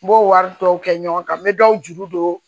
N b'o wari tɔw kɛ ɲɔgɔn kan n bɛ dɔw juru don